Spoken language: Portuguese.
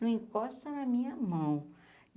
Não encosta na minha mão.